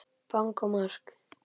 Bang og mark!